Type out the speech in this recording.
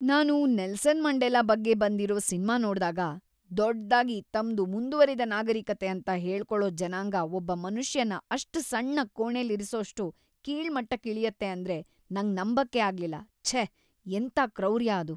ನಾನು Nelson Mandela ಬಗ್ಗೆ ಬಂದಿರೋ ಸಿನ್ಮಾ ನೋಡ್ದಾಗ, ದೊಡ್ದಾಗಿ ತಮ್ದು "ಮುಂದುವರಿದ ನಾಗರಿಕತೆ" ಅಂತ ಹೇಳ್ಕೊಳೋ ಜನಾಂಗ ಒಬ್ಬ ಮನುಷ್ಯನ್ನ ಅಷ್ಟ್ ಸಣ್ಣ ಕೋಣೆಲಿರ್ಸೋಷ್ಟು ಕೀಳ್‌ಮಟ್ಟಕ್ಕಿಳ್ಯತ್ತೆ ಅಂದ್ರೆ ನಂಗ್‌ ನಂಬಕ್ಕೇ ಆಗ್ಲಿಲ್ಲ. ಛೇ! ಎಂಥ ಕ್ರೌರ್ಯ ಅದು!